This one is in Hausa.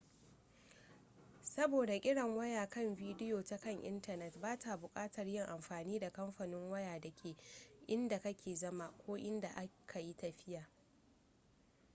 saboda kiran waya kan biyo ta kan intanet ba ka bukatar yin amfani da kamfanin waya da ke inda ka ke zama ko inda ka yi tafiya